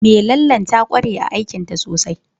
Mai lallen ta ƙware aikinta sosai